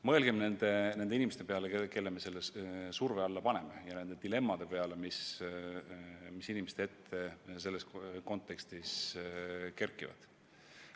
Mõelgem nende inimeste peale, kelle me surve alla paneme, ja nende dilemmade peale, mis inimeste ette selles kontekstis kerkivad.